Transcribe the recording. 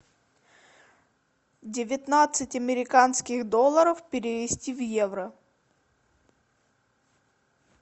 девятнадцать американских долларов перевести в евро